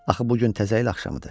Axı bu gün təzə il axşamı idi.